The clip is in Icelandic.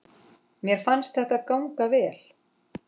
Mér fannst þetta ganga vel.